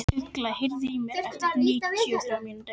Ugla, heyrðu í mér eftir níutíu og þrjár mínútur.